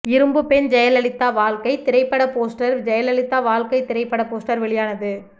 இரும்பு பெண் ஜெயலலிதா வாழ்க்கை திரைப்பட போஸ்டர் ஜெயலலிதா வாழ்க்கை திரைப்பட போஸ்டர் வெளியானது